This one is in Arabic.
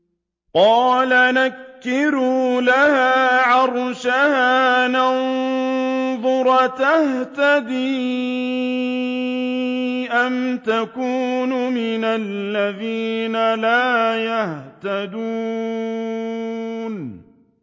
قَالَ نَكِّرُوا لَهَا عَرْشَهَا نَنظُرْ أَتَهْتَدِي أَمْ تَكُونُ مِنَ الَّذِينَ لَا يَهْتَدُونَ